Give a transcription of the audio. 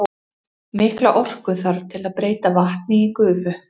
Mikla orku þarf til að breyta vatni í gufu.